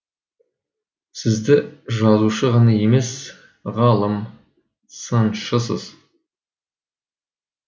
сізді жазушы ғана емес ғалым сыншысыз